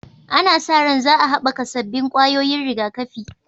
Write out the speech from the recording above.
Ana sa ran za a haɓaka sabbin ƙwayoyin rigakafi